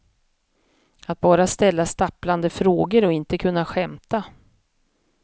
Att bara ställa stapplande frågor och inte kunna skämta.